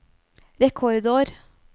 rekordår